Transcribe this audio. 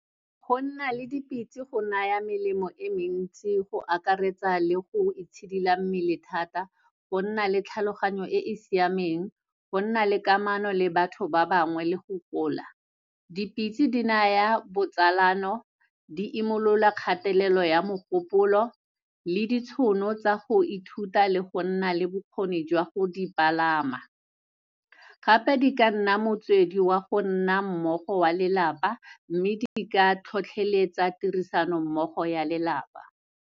Go nna le dipitse go naya melemo e mentsi go akaretsa le go itshidila mmele thata, go nna le tlhaloganyo e e siameng, go nna le kamano le batho ba bangwe le go gola. Dipitse di naya botsalano, di imolola kgatelelo ya mogopolo le ditshono tsa go ithuta le go nna le bokgoni jwa go di palama. Gape, di ka nna motswedi wa go nna mmogo wa lelapa, mme di ka tlhotlhoeletsa tirisano mmogo ya lelapa.